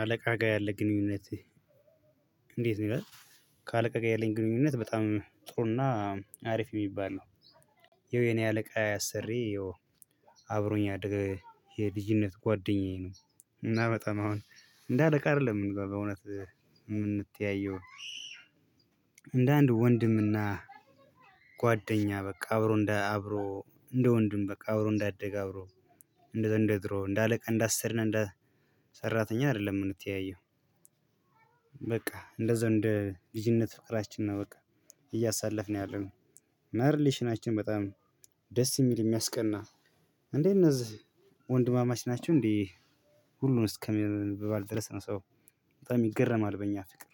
አለቃ ጋር ያለ ግንኙነት? እንዴት ነው ይላል? ከአለቃ ጋር ያለኝ ግንኙነት በጣም ጥሩና አሪፍ የሚባል ነው። ይኸው የኔ አለቃ አሰሪዬ አብሮኝ ያደገ የልጅነት ጓደኛዬ ነው። እና በጣም አሁን እንደ አለቃ አይደለም በእውነት የምንተያየው። እንደ አንድ ወንድምና ጓደኛ በቃ አብሮ እንደ አብሮ እንደ ወንድም በቃ አብሮ እንዳደገ አብሮ እንደዛ እንደ ድሮው እንደ አለቃ እንደ አስሪ እና እንደ ሰራተኛ አይደለም የምንተያየው። በቃ እንደዛው እንደ ልጅነት ፍቅራችን ነው በቃ እያሳለፍን ያለነው። እና ርሌሽናችን በጣም ደስ የሚል የሚያስቀና። እንዴ እነዚህ ወንድማማች ናቸው እንዴ? ሁሉንም እስከምንበባል ድረስ ነው ሰው በጣም ይገረማል በእኛ ፍቅር።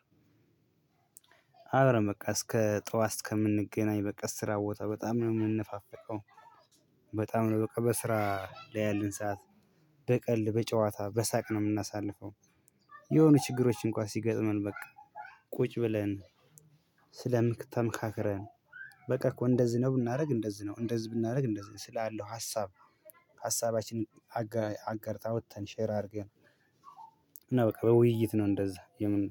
አብረን በቃ እስከ ጠዋት እስከምንገናኝ በቃ ስራ ቦታ በጣም ነው የምንፋፍቀው። በጣም ነው በቃ በስራ ላይ ያለን ሰዓት በቀልድ በጨዋታ በሳቅ ነው የምናሳልፈው። የሆኑ ችግሮች እንኳን ሲገጥመን በቃ ቁጭ ብለን ስለ ተመካክረን በቃ እኮ እንደዚህ ነው ብናደርግ እንደዚህ ነው እንደዚህ ብናደርግ እንደዚህ ነው ስላለው ሀሳብ። ሀሳባችንን አጋር አውጥተን ሼር አድርገን እና በቃ በውይይት ነው እንደዛ የምን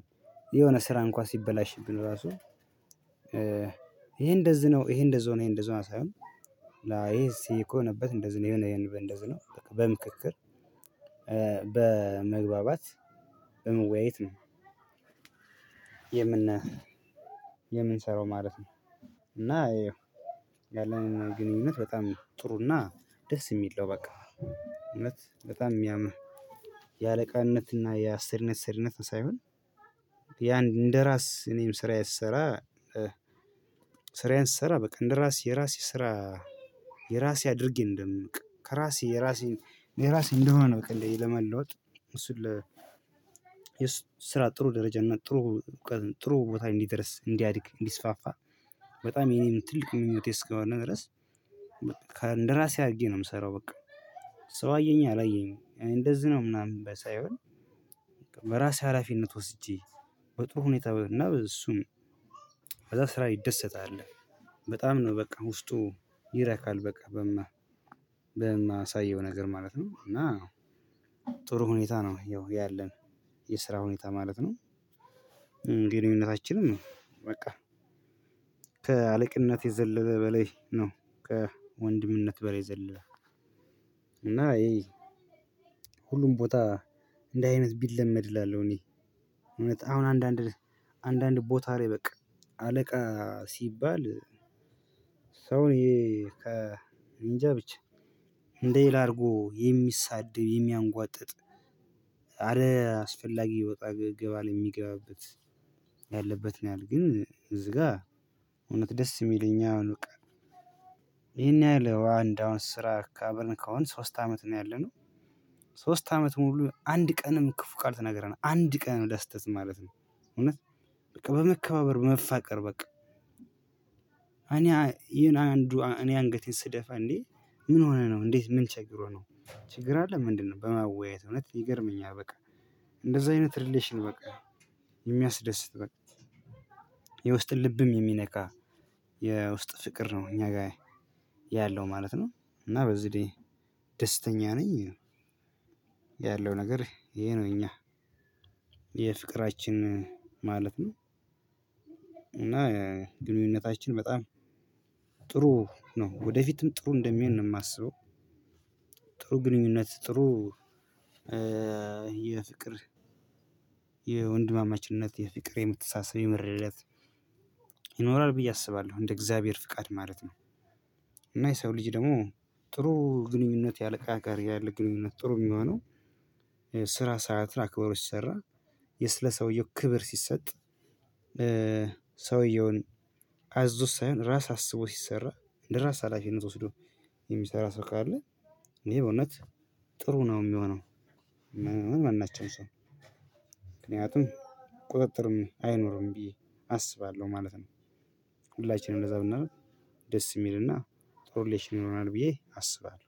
የሆነ ስራ እንኳን ሲበላሽብን ራሱ። ይሄ እንደዚህ ነው ይሄ እንደዚህ ሆነ እንደዚህ ሆኗል ሳይሆን ይሄ እኮ የሆነበት እንደዚህ ነው የሆነ ይሄን በእደዚህ ነው በቃ በምክክር በመግባባት በመወያየት ነው። የምን የምንሰራው ማለት ነው። እና ያው ያለን ግንኙነት በጣም ጥሩና ደስ የሚል ነው። በቃ እውነት በጣም የሚያምር የአለቃነት እና የአሰሪነት ሰሪነት ሳይሆን። ያንድ እንደራስ እኔም ስራዬን ስሰራ ስራዬን ስሰራ በቃ እንደራስ የራሴ ስራ። የራሴ አድርጌ እንደም በቃ ከራሴ የራሴ የራሴ እንደሆነ በቃ እንደዚህ ለመለወጥ እሱን ለ ስራ ጥሩ ደረጃ እና ጥሩ ጥሩ ቦታ ላይ እንዲደርስ እንዲያድግ እንዲስፋፋ። በጣም የኔም ትልቅ ምኞቴ እስከሆነ ድረስ በቃ ከ እንደራሴ አድርጌ ነው የምሰራው በቃ። ሰው አየኝ አላየኝ እንደዚህ ነው ምናምን የሚባል ሳይሆን። በራሴ ሀላፊነት ወስጄ በጥሩ ሁኔታ እና በእሱም ከዛ ስራ ይደሰታል። በጣም ነው በቃ ውስጡ ይረካል በቃ በማ በማሳየው ነገር ማለት ነው። እና ጥሩ ሁኔታ ነው ያው ያለን የስራ ሁኔታ ማለት ነው። ግንኙነታችንም በቃ ከአለቅነት የዘለለ በላይ ነው ከወንድምነት በላይ የዘለለ። እና ይሄ ሁሉም ቦታ እንዲህ አይነት ቢለመድ እላለሁ። እኔ እውነት አሁን አንዳንድ አንዳንድ ቦታ ላይ በቃ አለቃ ሲባል ሰውን የ ከ እኔ እንጃ ብቻ እንደሌላ አድርጎ የሚሳደብ የሚያጓጥጥ አለ አስፈላጊ ይወጣል ይገባል የሚገባበት ያለበት ነው። ግን እዚህ ጋር እውነት ደስ የሚለኝ አሁን በቃ ይሄን ያህል አንድ አሁን ስራ ከ አብረን ከሆንን ሶስት አመት ነው ያለነው። ሶስት አመት ሙሉ አንድ ቀንም ክፉ ቃል ተናገረን አንድ ቀን ለስህተት ማለት ነው። እውነት በቃ በመከባበር በመፋቀር በቃ እኔ የኔ አንዱ እኔ አንገቴን ስደፋ እንዴ? ምን ሆነህ ነው? እንዴት ምን ችግሮህ ነው? ችግር አለ ምንድነው? በማወያየት እውነት ይገርምኛል። በቃ እንደዛ አይነት ሪሌሽን በቃ የሚያስደስት በቃ የውስጥ ልብም የሚነካ የውስጥ ፍቅር ነው እኛ ጋር ያለው ማለት ነው። እና በዚህ ላይ ደስተኛ ነኝ። ያለው ነገር ይሄ ነው እኛ የፍቅራችን ማለት ነው። እና ግንኙነታችን በጣም ጥሩ ነው ወደፊትም ጥሩ እንደሚሆን ነው የማስበው። ጥሩ ግንኙነት ጥሩ የፍቅር የወንድማማችነት የፍቅር የመተሳሰብ የመረዳዳት ይኖራል ብዬ አስባለሁ እንደ እግዚአብሔር ፍቃድ ማለት ነው። እና የሰው ልጅ ደግሞ ጥሩ ግንኙነት ያለ አለቃ ጋር ያለ ግንኙነት ጥሩ የሚሆነው። ስራ ሰዓትን አክበሮ ሲሰራ የ ስለ ሰውየው ክብር ሲሰጥ። ሰውየውን አዞት ሳይሆን ራስ አስቦ ሲሰራ እንደ ራስ ሀላፊነት ወስዶ የሚሰራ ሰው ካለ እኔ ይሄ በእውነት ጥሩ ነው የሚሆነው። ማናቸውም ሰው ምክንያቱም ቁጥጥርም አይኖርም ብዬ አስባለሁ ማለት ነው። ሁላችንም እንደዛ ብናደርግ ደስ የሚልና ጥሩ ሪሌሽን ይኖረናል ብዬ አስባለሁ